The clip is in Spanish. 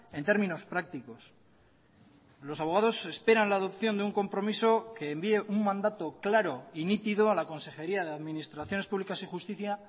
en términos prácticos los abogados esperan la adopción de un compromiso que envíe un mandato claro y nítido a la consejería de administraciones públicas y justicia